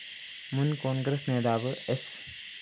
മുന്‍ കോണ്‍ഗ്രസ് നേതാവ് സ്‌